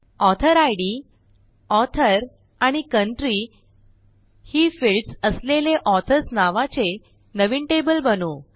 ऑथोरिड author आणि country ही fields असलेले ऑथर्स नावाचे नवीन टेबल बनवू